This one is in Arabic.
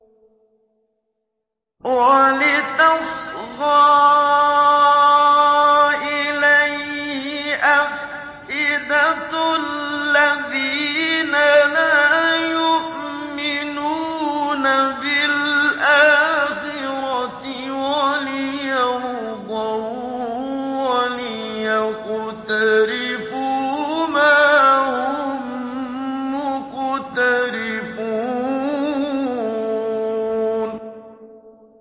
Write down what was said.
وَلِتَصْغَىٰ إِلَيْهِ أَفْئِدَةُ الَّذِينَ لَا يُؤْمِنُونَ بِالْآخِرَةِ وَلِيَرْضَوْهُ وَلِيَقْتَرِفُوا مَا هُم مُّقْتَرِفُونَ